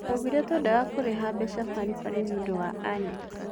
Tũaugire twendaga kũrĩha mbeca baribari nĩũndũ wa Alex.